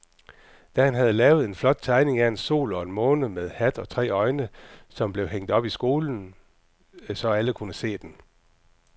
Dan havde lavet en flot tegning af en sol og en måne med hat og tre øjne, som blev hængt op i skolen, så alle kunne se den.